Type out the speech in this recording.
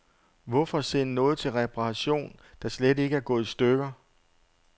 Hvorfor sende noget til reparation, der slet ikke er gået i stykker.